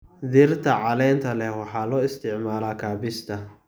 Dhirta caleenta leh waxa loo isticmaalaa kaabista.